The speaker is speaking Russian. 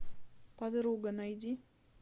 подруга найди